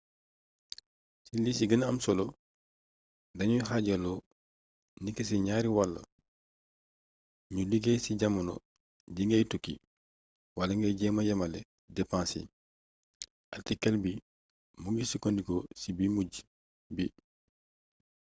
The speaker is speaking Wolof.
ci li ci gëna am solo dañuy xaajaloo niki ci ñaari wàll ñu liggéey ci jamono ji ngay tukki wala ngay jéema yemale depense yi artikël bii mu ngi sukkandiku ci bu mujj bi